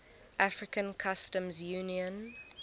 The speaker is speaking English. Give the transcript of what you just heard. african customs union